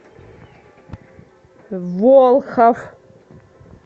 волхов